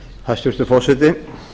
hæstvirtur forseti